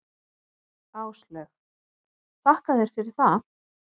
Áslaug: Þakka þér fyrir það.